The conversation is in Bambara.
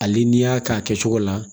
Hali n'i y'a k'a kɛcogo la